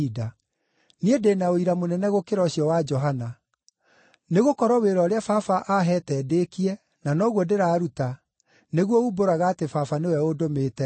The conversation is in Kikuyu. “Niĩ ndĩ na ũira mũnene gũkĩra ũcio wa Johana. Nĩgũkorwo wĩra ũrĩa Baba aaheete ndĩĩkie, na noguo ndĩraruta, nĩguo uumbũraga atĩ Baba nĩwe ũndũmĩte.